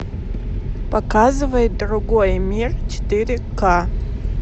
показывай другой мир четыре ка